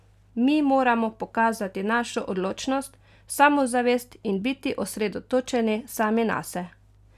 Mi moramo pokazati našo odločnost, samozavest in biti osredotočeni sami nase!